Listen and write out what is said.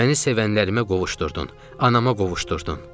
Məni sevənlərimə qovuşdurdun, anama qovuşdurdun.